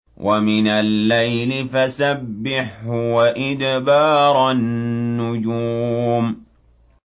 وَمِنَ اللَّيْلِ فَسَبِّحْهُ وَإِدْبَارَ النُّجُومِ